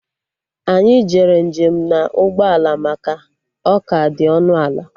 Anyị jere njem na ụgbọ ala maka ọ ka dị ọnụ ala